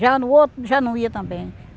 Já no outro, já não ia também.